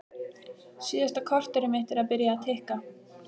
Síðasta korterið mitt er byrjað að tikka.